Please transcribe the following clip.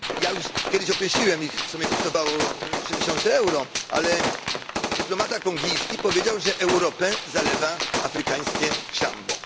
Już kiedyś określiłem ich, co mnie kosztowało 3000 euro, ale dyplomata kongijski powiedział, że Europę zalewa afrykańskie szambo.